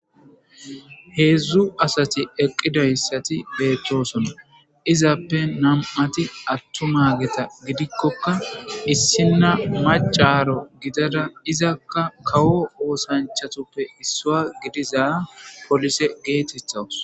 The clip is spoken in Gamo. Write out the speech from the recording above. heedzdzu asati eqqidayssati beechchosona izappe nam7ati attuma geta gidikkokka issinna macaro gidada izakka kawo wosanchatuppe issua gidiza polise geetethawus